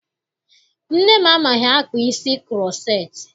Nne m amaghị akpa isi kuroceti.